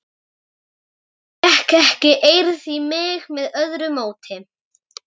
Fékk ekki eirð í mig með öðru móti.